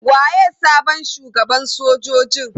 Waye sabon shugaban sojojin?